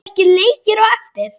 Eru ekki leikir á eftir?